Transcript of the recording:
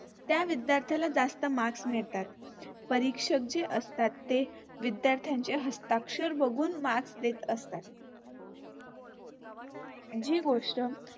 त्या विध्यार्थ्याला जास्त Marks मिळतात. परीक्षक जे असतात ते विद्यार्थ्यांचे हस्ताक्षर बगुन Marks देत असतात. जी गोष्ट